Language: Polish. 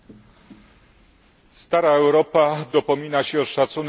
Stara Europa dopomina się o szacunek do dziedzictwa.